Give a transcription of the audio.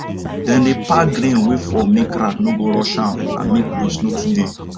dem dey pack grain wey fall make rat no go rush am and make waste no too dey